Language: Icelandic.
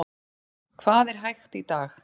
Hvað er hægt í dag?